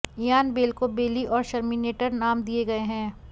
Ian Bell को Belly और Sherminator नाम दिए गए हैं